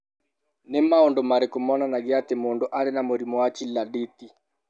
Nĩ maũndũ marĩkũ monanagia atĩ mũndũ arĩ na mũrimũ wa Chilaiditi?